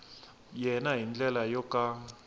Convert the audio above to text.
yena hi ndlela yo ka